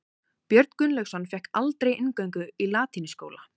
Björn Gunnlaugsson fékk aldrei inngöngu í latínuskóla.